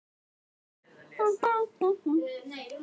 Hafði það ekki verið hans hugmynd að fara í Tívolí?